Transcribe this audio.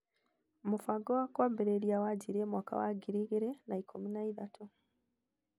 mũbango wa kũambĩrĩria wanjirie mwaka wa 2013